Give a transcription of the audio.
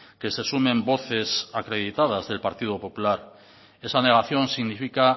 que se sumen voces acreditadas del partido popular esta negación significa